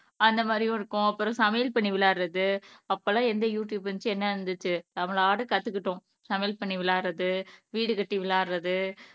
அந்த மாதிரி இருக்கும் அப்புறம் சமையல் பண்ணி விளையாடுறது அப்பெல்லாம் எந்த யூடியூப் இருந்துச்சு என்ன இருந்துச்சு நம்மளாட்ட கத்துக்கிட்டோம் சமையல் பண்ணி விளையாடுறது வீடு கட்டி விளையாடுறது